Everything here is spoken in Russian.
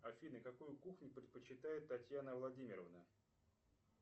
афина какую кухню предпочитает татьяна владимировна